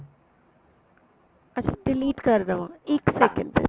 ਅੱਛਾ delete ਕਰ ਦੇਵਾ ਇੱਕ second ਫੇਰ